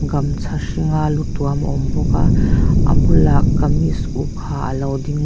gamcha hring a lu tuam a awm bawk a a bulah kamis uk ha alo ding--